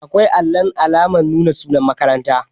Akwai allun alamar nuna sunan makaranta